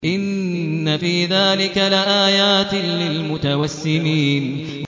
إِنَّ فِي ذَٰلِكَ لَآيَاتٍ لِّلْمُتَوَسِّمِينَ